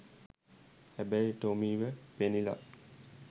හැබැයි ටොමීව පෙනිලා